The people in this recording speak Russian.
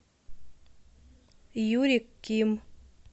юрий ким